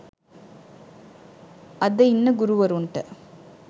අද ඉන්න ගුරුවරුන්ට